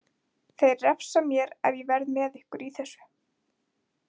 Þeir refsa mér ef ég verð með ykkur í þessu.